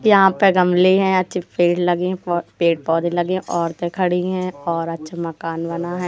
यहां पर गमले हैं अच्छे पेड़ लगे हैं पेड़ पौधे लगे औरतें खड़ी है और अच्छा मकान बना है।